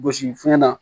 Gosi fiɲɛ na